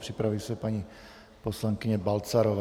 Připraví se paní poslankyně Balcarová.